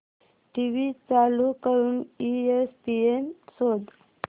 TV चालू करून ESPN शोध